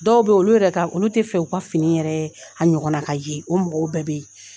Dɔw bɛ olu yɛrɛ olu tɛ fɛ u ka fini yɛrɛ a ɲɔgɔn na ka ye, o mɔgɔw bɛɛ bɛ yen.